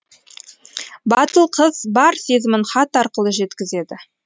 батыл қыз бар сезімін хат арқылы жеткізеді